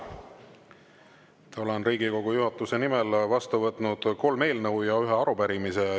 Ma olen Riigikogu juhatuse nimel vastu võtnud kolm eelnõu ja ühe arupärimise.